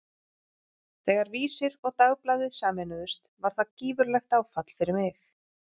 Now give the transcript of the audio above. Þegar Vísir og Dagblaðið sameinuðust var það gífurlegt áfall fyrir mig.